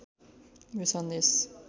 यो सन्देश